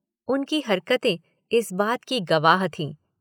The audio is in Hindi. उनकी हरकतें इस बात की गवाह थीं।